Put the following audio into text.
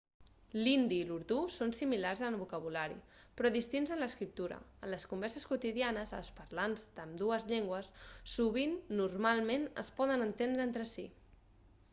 l'hindi i l'urdú són similars en el vocabulari però distints en l'escriptura en les converses quotidianes els parlants d'ambdues llengües sovint normalment es poden entendre entre si